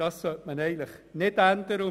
Das sollte man nicht ändern.